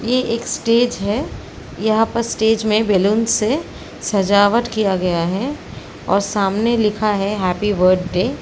ये एक स्टेज है। यहाँ पर स्टेज में बैलून से सजावट किया गया है और सामने लिखा है हैप्पी बर्डे ।